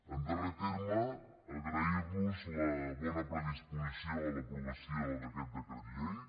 en darrer terme agrair los la bona predisposició a l’aprovació d’aquest decret llei